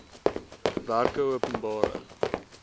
werkeopenbare